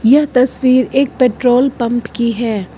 यह तस्वीर एक पेट्रोल पंप की है।